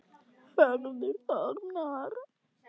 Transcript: Hörður Þormar.